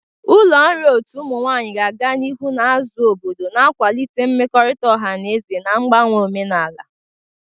Ụlọ nri otu ụmụ nwanyị ga-aga n'ihu na-azụ obodo, na-akwalite mmekọrịta ọha na eze na mgbanwe omenala.